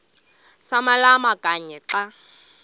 samalama kanye xa